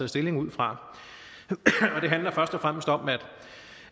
stilling ud fra det handler først og fremmest om